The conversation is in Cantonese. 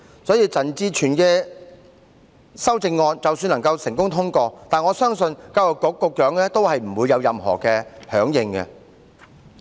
所以，陳志全議員的修正案即使能夠成功通過，我相信教育局局長也不會有任何配合。